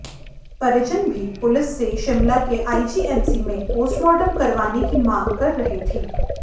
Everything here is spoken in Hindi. परिजन भी पुलिस से शिमला के आईजीएमसी में पोस्टमार्टम करवाने की मांग कर रहे थे